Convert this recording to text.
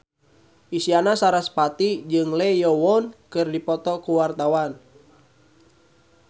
Isyana Sarasvati jeung Lee Yo Won keur dipoto ku wartawan